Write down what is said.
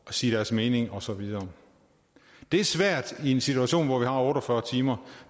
sige deres mening og så videre det er svært i en situation hvor vi har otte og fyrre timer